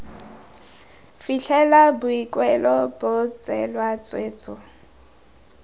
fitlhela boikuelo bo tseelwa tshwetso